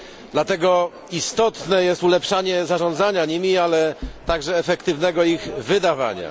Dlatego istotne jest ulepszanie zarządzania nimi, ale także efektywnego ich wydawania.